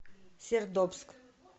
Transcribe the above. сердобск